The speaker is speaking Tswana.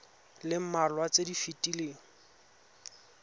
le mmalwa tse di fetileng